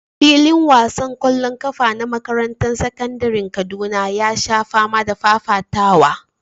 Filin wasan ƙwallon ƙafa na makarantar sakandaren Kaduna ya sha fama da fafatawa.